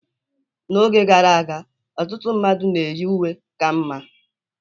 N'oge gara aga, ọtụtụ mmadụ na-eyi uwe ka mma